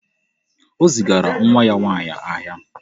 O zigara nwa ya nwaanyị ahịa.